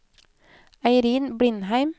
Eirin Blindheim